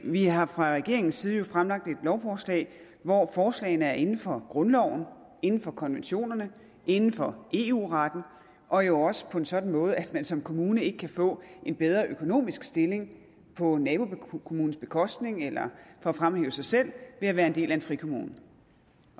vi har jo fra regeringens side fremsat et lovforslag hvor forslagene er inden for grundloven inden for konventionerne inden for eu retten og jo også på en sådan måde at man som kommune ikke kan få en bedre økonomisk stilling på nabokommunens bekostning eller kan fremhæve sig selv ved at være en del af en frikommune